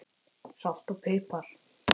Salt og pipar